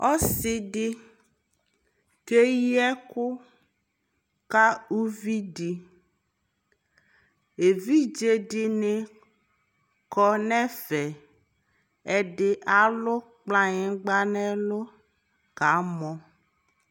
ɔsiidi kɛyi ɛkʋ ka ʋvi di, ɛvidzɛ dini kɔnʋ ɛvɛ, ɛdi alʋ kplayingba nʋ ɛlʋ kamɔ